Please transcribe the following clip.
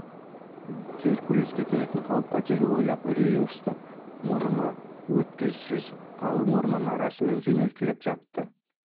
геркулеске төнетін қауіп-қатерді ойлап үрейі ұшты мұрны өткісіз қалың ормандары арасымен жөнелтіліп жатты